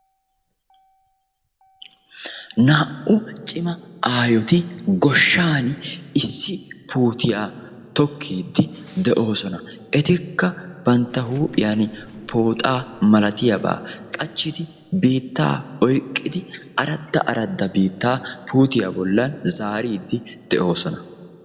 naa"u cimma aayoti goshani issi puutiya tokkidi doossona etikka bantta huuphiyani foxxaa qachidi bantta oyqido puutiya bollani biitta zaaridi doossona.